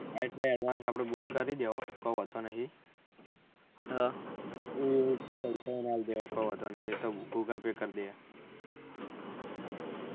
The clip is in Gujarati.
હા એટલે advanve આપળે book કરી દેવું કોઈ વાંધો નહી કોઈ વાંધો નહી એ તો google pay કર દેય